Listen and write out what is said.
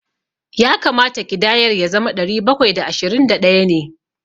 Ya kamata ƙidayar ya zama ɗari bakwai da ashirin da ɗaya ne.